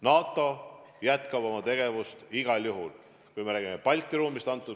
NATO jätkab oma tegevust igal juhul, kui me räägime Balti ruumist.